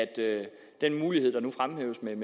det vi